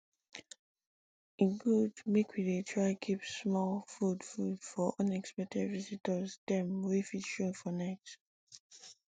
e good make we dey try keep small food food for unexpected visitors dem wey fit show for night